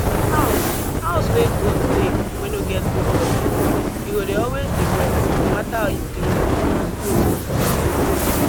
house house wey goat dey wey no get good gutter e go dey always dey wet no matter how you clean am and goat no fit